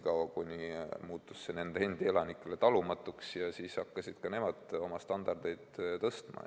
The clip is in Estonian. Aga kui see muutus nende endi elanikele talumatuks, hakkasid ka nemad oma standardeid tõstma.